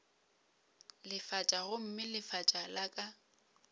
lefatša gomme lefatša la ka